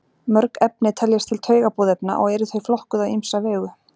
mörg efni teljast til taugaboðefna og eru þau flokkuð á ýmsa vegu